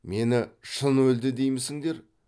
мені шын өлді деймісіңдер